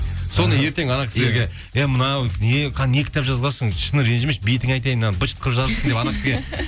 соны ертең анау кісілерге ей мынау не не кітап жазғансың шыны ренжімеші бетіңе айтайын мынаны бытшыт қылып жазыпсың